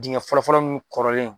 Dingɛ fɔlɔ fɔlɔ munnu kɔrɔlen